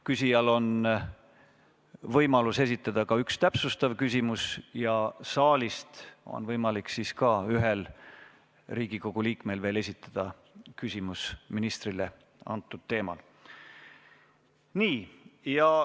Küsijal on võimalus esitada ka üks täpsustav küsimus ja saalist on võimalik veel ühel Riigikogu liikmel ministrile samal teemal küsimus esitada.